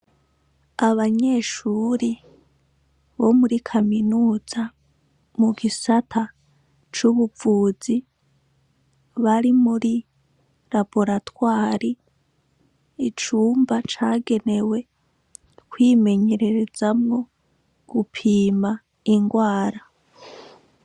Abanyeshuri bo muri kaminuza mu gisata c'ubuvuzi bari muri laboratwari icumba cagenewe kwimenyererezamwo gupima ingwara koya.